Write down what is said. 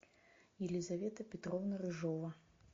елизавета петровна рыжова